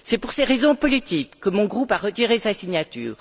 C'est pour ces raisons politiques que mon groupe a retiré sa signature.